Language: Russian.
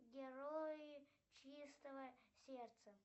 герои чистого сердца